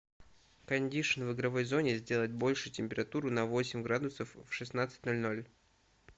кондишн в игровой зоне сделать больше температуру на восемь градусов в шестнадцать ноль ноль